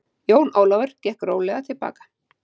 Jón Ólafur gekk rólega til baka.